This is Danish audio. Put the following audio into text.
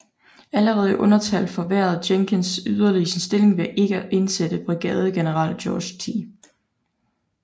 Allerede i undertal forværrede Jenkins yderligere sin stilling ved ikke at indsætte brigadegeneral George T